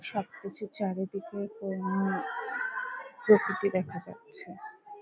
সবকিছু চারিদিকে এ-উঃ প্রকৃতি দেখা যাচ্ছে ।